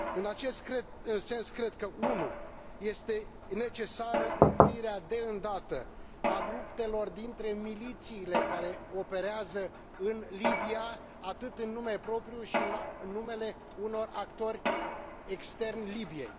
În acest sens cred că 1 este necesară oprirea de îndată a luptelor dintre milițiile care operează în Libia atât în nume propriu, cât și în numele unor actori externi Libiei